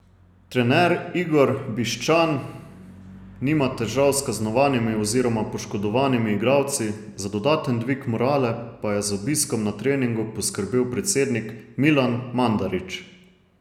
Trener Igor Bišćan nima težav s kaznovanimi oziroma poškodovanimi igralci, za dodaten dvig morale pa je z obiskom na treningu poskrbel predsednik Milan Mandarić.